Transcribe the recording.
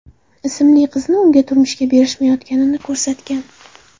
ismli qizni unga turmushga berishmayotganini ko‘rsatgan.